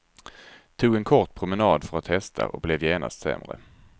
Tog en kort promenad för att testa och blev genast sämre.